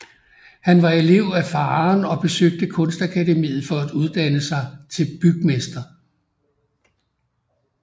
Han var elev af faderen og besøgte Kunstakademiet for at uddanne sig til bygmester